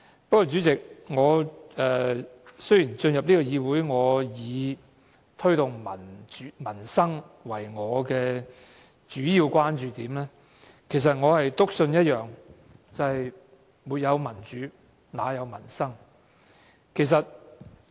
不過，主席，雖然我進入議會是以推動民生為我的主要關注點，但我篤信一件事，便是沒有民主，哪有民生？